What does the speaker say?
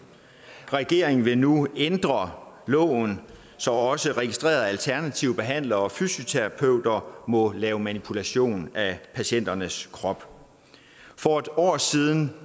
regeringen vil nu ændre loven så også registrerede alternative behandlere og fysioterapeuter må lave manipulation af patienternes kroppe for et år siden